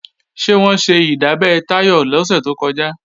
Ṣé wọ́n ṣe ìdábẹ́ Táyọ̀ lọ́sẹ̀ tó kọjá?